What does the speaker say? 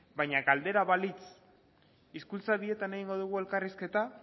baina galdera balitz hizkuntza bietan egingo dugu elkarrizketa